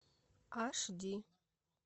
аш ди